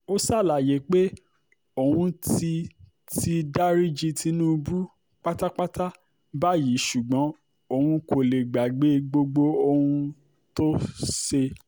ó ṣàlàyé pé òun ti ti dariji tìǹbù pátápátá báyìí ṣùgbọ́n òun kò lè gbàgbé gbogbo ohun tó ṣe